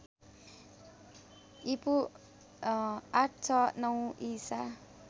ईपू ८६९ ईसा